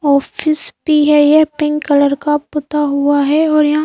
office भी है ये पिंक कलर का पुता हुआ है और यहां--